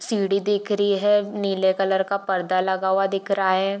सीढ़ी दिख री है नीले कलर का परदा लगा हुआ दिख रहा है।